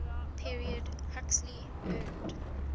period huxley earned